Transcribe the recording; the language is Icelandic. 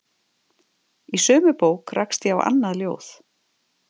Í sömu bók rakst ég á annað ljóð